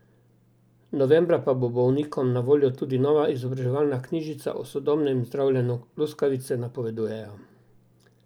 Novembra pa bo bolnikom na voljo tudi nova izobraževalna knjižica o sodobnem zdravljenju luskavice, napovedujejo.